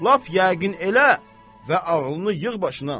Lap yəqin elə və ağlını yığ başına.